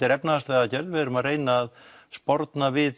er efnahagsleg aðgerð við erum að reyna að sporna við